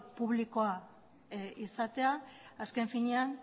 publikoa izatea azken finean